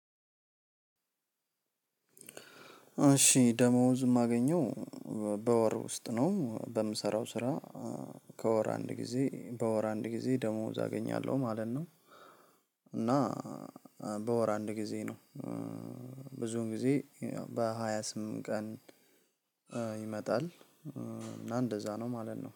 እሺ ደሞዝ የማገኘው በወር ውስጥ ነው በምሰራው ስራ። ከወር አንድ ጊዜ በወር አንድ ጊዜ ደሞዝ አገኛለሁ ማለት ነው። እና በወር አንድ ጊዜ ነው። ብዙውን ጊዜ በሃያ ስምንት ቀን ይመጣል። እና እንደዛ ነው ማለት ነው